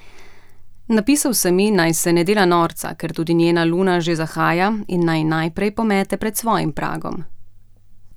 Napisal sem ji, naj se ne dela norca, ker tudi njena luna že zahaja, in naj najprej pomete pred svojim pragom.